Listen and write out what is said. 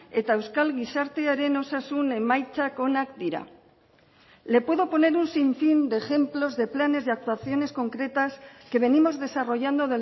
eta euskal gizartearen osasun emaitzak onak dira le puedo poner un sinfín de ejemplos de planes de actuaciones concretas que venimos desarrollando